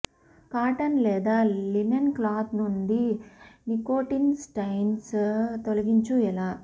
cotton లేదా linen clothes నుండి nicotine stains తొలగించు ఎలా